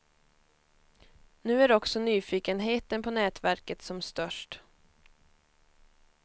Nu är också nyfikenheten på nätverket som störst.